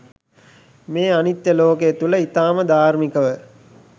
මේ අනිත්‍ය ලෝකය තුළ ඉතාම ධාර්මිකව